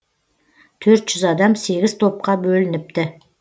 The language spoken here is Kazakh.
төрт жүз адам сегіз топқа бөлініпті